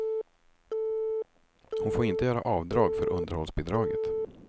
Hon får inte göra avdrag för underhållsbidraget.